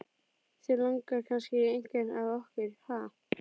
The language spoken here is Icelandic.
Þig langar kannski í einhvern af okkur, ha?